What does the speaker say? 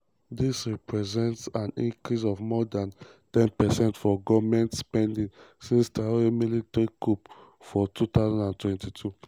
dis represents an increase of more dan ten percent for goment spending since traoré military coup for 2022.